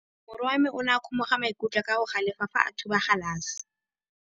Morwa wa me o ne a kgomoga maikutlo ka go galefa fa a thuba galase.